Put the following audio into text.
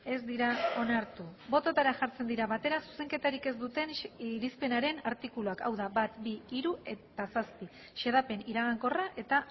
ez dira onartu bototara jartzen dira batera zuzenketarik ez duten irizpenaren artikuluak hau da bat bi hiru eta zazpi xedapen iragankorra eta